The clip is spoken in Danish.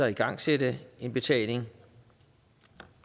igangsætte en betaling